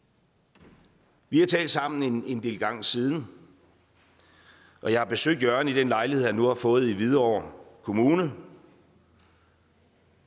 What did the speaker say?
vi har talt sammen en del gange siden og jeg har besøgt jørgen i den lejlighed han nu har fået i hvidovre kommune